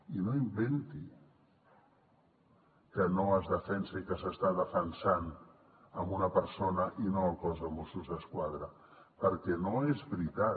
i no inventi que no es defensa i que s’està defensant una persona i no el cos de mossos d’esquadra perquè no és veritat